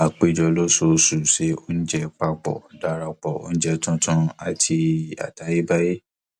a péjọ lóṣooṣù se oúnjẹ papọ darapọ oúnjẹ tuntun àti àtayébáyé